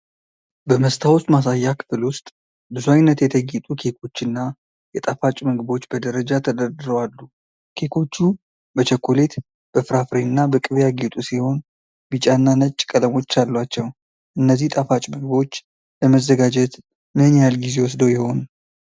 በመስታወት ማሳያ ክፍል ውስጥ ብዙ ዓይነት የተጌጡ ኬኮች እና የጣፋጭ ምግቦች በደረጃ ተደርድረው አሉ። ኬኮቹ በቸኮሌት፣ በፍራፍሬ እና በቅቤ ያጌጡ ሲሆን፣ ቢጫና ነጭ ቀለሞች አሏቸው። እነዚህ ጣፋጭ ምግቦች ለመዘጋጀት ምን ያህል ጊዜ ወስደው ይሆን?